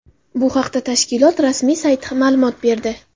Bu haqda tashkilot rasmiy sayti ma’lumot berdi.